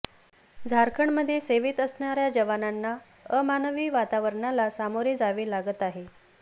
झारखंडमध्ये सेवेत असणाऱ्या जवानांना अमानवी वातावरणाला सामोरे जावे लागत आहे